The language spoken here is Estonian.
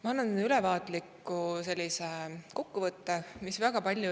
Ma ülevaatliku kokkuvõtte.